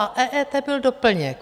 A EET byl doplněk.